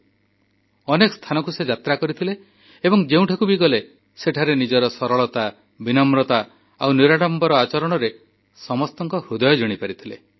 ସେ ଅନେକ ସ୍ଥାନକୁ ଯାତ୍ରା କରିଥିଲେ ଏବଂ ଯେଉଁଠାକୁ ବି ଗଲେ ସେଠାରେ ନିଜର ସରଳତା ବିନମ୍ରତା ଆଉ ନିରାଡ଼ମ୍ବର ଆଚରଣ ଦ୍ୱାରା ସମସ୍ତଙ୍କ ହୃଦୟ ଜିଣିପାରିଥିଲେ